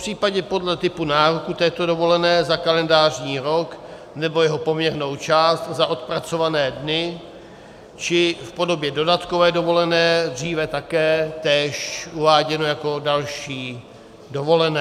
Popřípadě podle typu nároku této dovolené za kalendářní rok, nebo jeho poměrnou část za odpracované dny, či v podobě dodatkové dovolené, dříve také též uváděno jako další dovolené.